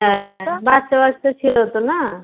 বাচ্চা বাচ্চা ছিল তো না